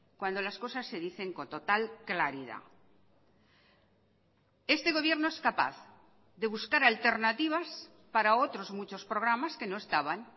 cuando las cosas se dicen con total claridad este gobierno es capaz de buscar alternativas para otros muchos programas que no estaban